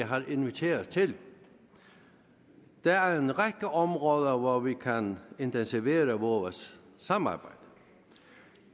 har inviteret til der er en række områder hvor vi kan intensivere vores samarbejde